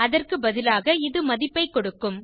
அதற்கு பதிலாக இது மதிப்பைக் கொடுக்கும்